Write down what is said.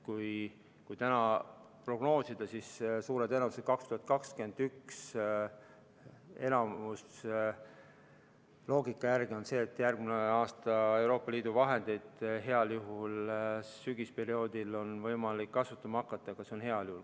Kui prognoosida, siis suure tõenäosusega on 2021, järgmine aasta, Euroopa Liidu vahendeid heal juhul sügisperioodil võimalik kasutama hakata, aga see on heal juhul.